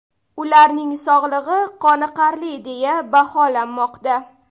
Ularning sog‘lig‘i qoniqarli deya baholanmoqda.